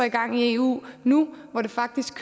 i gang i eu nu hvor det faktisk